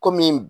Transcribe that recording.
Kɔmi